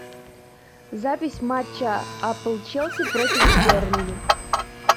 запись матча апл челси против бернли